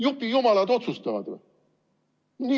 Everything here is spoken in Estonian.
Jupijumalad otsustavad või?